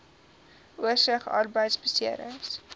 oorsig arbeidbeserings